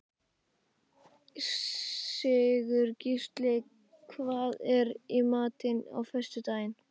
Sigurgísli, hvað er í matinn á föstudaginn?